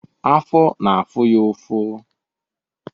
Afọ na-afụ ya ụfụ.